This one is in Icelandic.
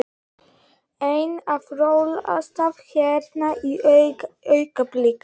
Einn að rolast hérna í augnablikinu.